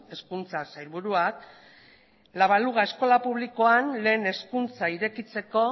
hezkuntza sailburuak la baluga eskola publikoan lehen hezkuntza irekitzeko